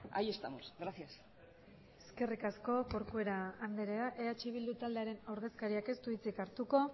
ahí estamos gracias eskerrik asko corcuera andrea eh bildu taldearen ordezkariak ez du hitzik hartuko